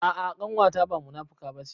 A'a ƙanwata ba munafuka bace